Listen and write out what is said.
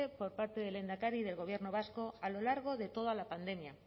por parte del lehendakari del gobierno vasco a lo largo de toda la pandemia